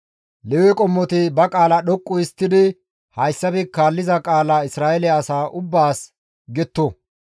Lewe qommoti ba qaala dhoqqu histtidi hayssafe kaalliza qaalaa Isra7eele asa ubbaas getto.